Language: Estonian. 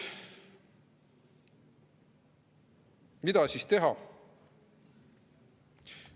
Mida siis teha?